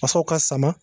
Fasaw ka sama